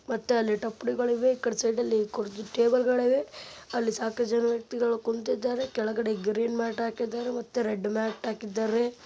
ಮತ್ತೆ ಟಪ್ಪಲಿಗಳಿವೆ ಈ ಕಡೆ ಸೈಡ್ ಟೇಬಲ್ಗಳಿವೆ ಅಲ್ಲಿ ಸಾಕಷ್ಟು ಜನ ವ್ಯಕ್ತಿಗಳು ಕುಂತಿದ್ದಾರೆ ಕೆಳಗಡೆ ಗ್ರೀನ್ ಮ್ಯಾಟ್ ಹಾಕಿದ್ದಾರೆ ಮತ್ತು ರೆಡ್ ಮೆಟ್ ಹಗಿದ್ದಾರೆ.